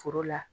Foro la